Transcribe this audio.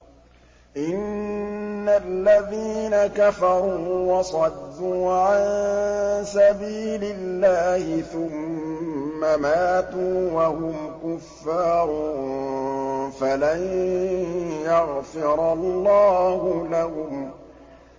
إِنَّ الَّذِينَ كَفَرُوا وَصَدُّوا عَن سَبِيلِ اللَّهِ ثُمَّ مَاتُوا وَهُمْ كُفَّارٌ فَلَن يَغْفِرَ اللَّهُ لَهُمْ